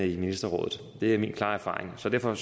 i ministerrådet det er min klare erfaring så derfor